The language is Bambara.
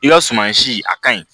I ka suman si a kaɲi